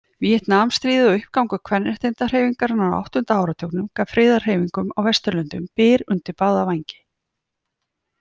Víetnamstríðið og uppgangur kvenréttindahreyfingarinnar á áttunda áratugnum gaf friðarhreyfingum á Vesturlöndum byr undir báða vængi.